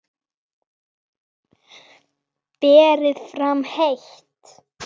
Berið fram heitt.